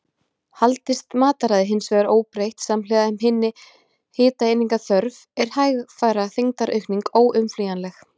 Haldist mataræði hins vegar óbreytt samhliða minni hitaeiningaþörf, er hægfara þyngdaraukning óumflýjanleg.